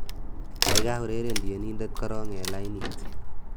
gaigai ureren tienindet korong en lainit